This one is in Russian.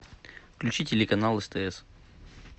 включи телеканал стс